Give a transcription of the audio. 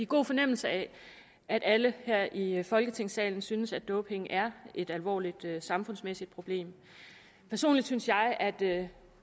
god fornemmelse af at alle her i folketingssalen synes at doping er et alvorligt samfundsmæssigt problem personligt synes jeg at det